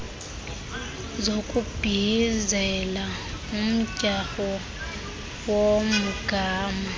zokubhiyizela umdyarho womgama